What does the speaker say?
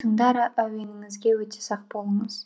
тыңдар әуеніңізге өте сақ болыңыз